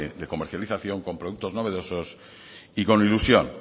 de comercialización con productos novedosos y con ilusión